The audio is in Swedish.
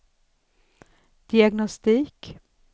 diagnostik